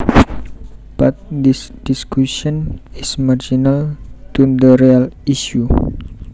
But this discussion is marginal to the real issue